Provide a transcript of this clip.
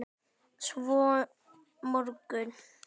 Svo mörgu.